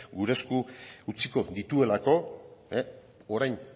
gure esku utziko dituelako orain